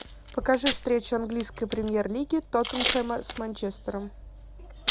покажи встречу английской премьер лиги тоттенхэма с манчестером